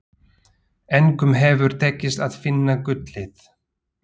Engum hefur tekist að finna gullið.